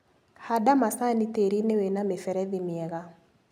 Handa macani tĩrinĩ wĩna mĩberethi mĩega.